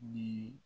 Yiri